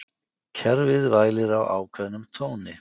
Kerfið vælir á ákveðnum tóni.